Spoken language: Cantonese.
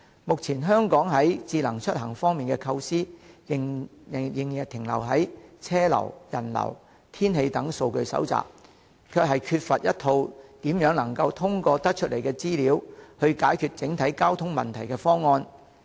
目前香港在智慧出行方面的構思，仍停留在車流、人流、天氣等數據的收集，欠缺一套通過整合所收集的資料去解決整體交通問題的方案。